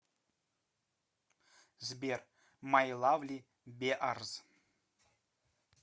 сбер май лавли беарз